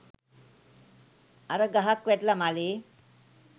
අර ගහක් වැටිලා මළේ